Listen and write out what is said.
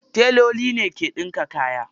Teloli ne ke ɗinka kaya.